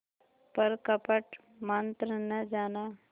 पर कपट मन्त्र न जाना